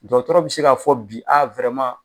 Dɔkɔtɔrɔ bi se k'a fɔ bi a